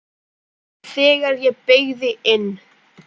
Þegar ég beygði inn